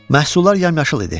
Məhsullar yamyaşıl idi.